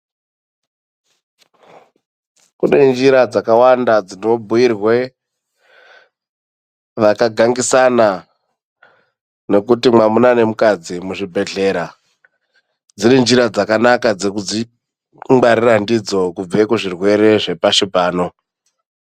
Kune njira dzakawanda dzinobhuirwa vakagangisana nokuti mwamuna nomukadzi muzvibhedhlera dziri njira dzakanaka dzekuzvingwarira ndidzo kubva kuzvirwere zvepashi pano.